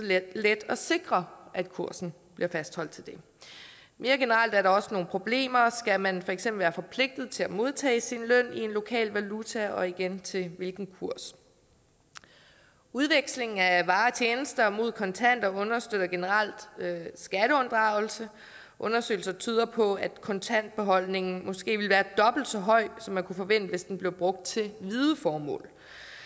let at sikre at kursen bliver fastholdt til det mere generelt er der også nogle andre problemer skal man for eksempel være forpligtet til at modtage sin løn i en lokal valuta og igen til hvilken kurs udveksling af varer og tjenester mod kontanter understøtter generelt skatteunddragelse undersøgelser tyder på at kontantbeholdningen måske ville være dobbelt så høj som man kunne forvente hvis den blev brugt til hvide formål